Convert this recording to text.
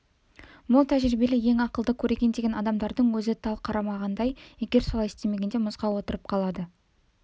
мол тәжірибелі ең ақылды көреген деген адамдардың өзі тал қармағандай егер солай істемегенде мұзға отырып қалады